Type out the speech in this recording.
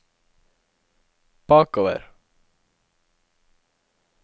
bakover